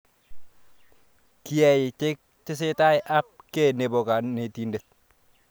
Kiyai Tech tesetai ab kei nepo kanetindet